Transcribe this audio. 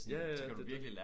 Ja ja det det